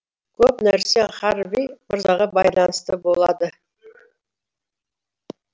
көп нәрсе харви мырзаға байланысты болады